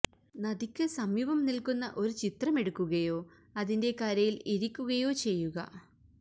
നദിക്ക് സമീപം നിൽക്കുന്ന ഒരു ചിത്രം എടുക്കുകയോ അതിന്റെ കരയിൽ ഇരിക്കുകയോ ചെയ്യുക